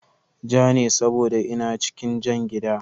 Ja ne saboda ina cikin jan gida